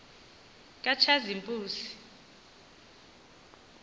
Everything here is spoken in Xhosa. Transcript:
katshazimpuzi